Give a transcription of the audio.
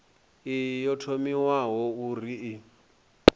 iyi yo thomiwa uri i